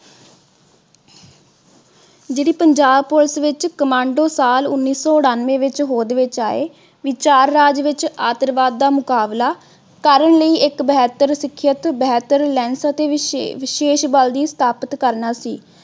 ਜਿਹੜੀ ਪੰਜਾਬ police ਵਿਚ commando ਸਾਲ ਉਨੀ ਸੌ ਉਨਾਨਵੇ ਵਿਚ ਹੋਂਦ ਵਿਚ ਆਏ, ਵਿਚਾਰ ਰਾਜ ਵਿਚ ਆਤੰਕਵਾਦ ਦਾ ਮੁਕਾਬਲਾ ਕਰਨ ਲਈ ਇਕ ਬਿਹਤਰ ਸਿਖਿਅਤ ਬਿਹਤਰ ਅਤੇ ਵਿਸ਼ੇਸ਼ ਬਲ ਦੀ ਸਤਾਪਤ ਕਰਨਾ ਸੀ।